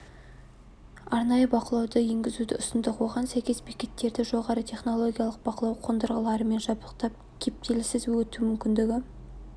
арнайы бақылауды енгізуді ұсындық оған сәйкес бекеттерді жоғары технологиялық бақылау қондырғыларымен жабдықтап кептіліссіз өту мүмкіндігі